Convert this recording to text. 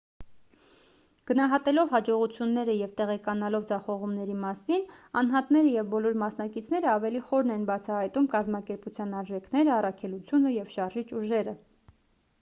գնահատելով հաջողությունները և տեղեկանալով ձախողումների մասին անհատները և բոլոր մասնակիցները ավելի խորն են բացահայտում կազմակերպության արժեքները առաքելությունը և շարժիչ ուժերը